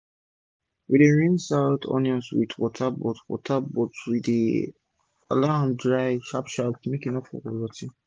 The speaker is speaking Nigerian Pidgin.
we dey rinse out onions wit water but water but we dey dry am sharp sharp make e for no rotty